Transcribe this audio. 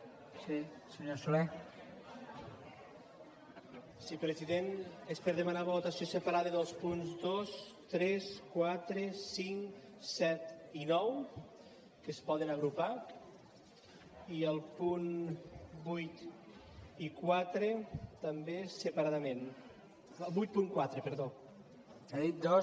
sí president és per demanar votació separada dels punts dos tres quatre cinc set i nou que es poden agrupar i el punt vuit i quatre també separadament vuitanta quatre perdó